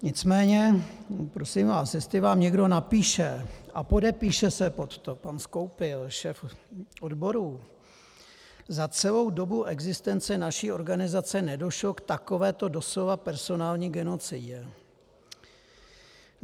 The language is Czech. Nicméně prosím vás, jestli vám někdo napíše a podepíše se pod to pan Skoupil, šéf odborů: Za celou dobu existence naší organizace nedošlo k takovéto doslova personální genocidě.